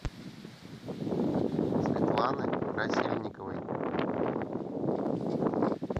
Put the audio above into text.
светланы красильниковой